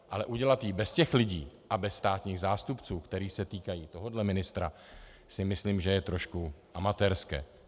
Ale udělat ji bez těch lidí a bez státních zástupců, kteří se týkají tohohle ministra, si myslím, že je trošku amatérské.